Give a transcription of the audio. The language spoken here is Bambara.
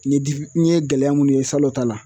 N ye n ye gɛlɛya munnu ye salo ta la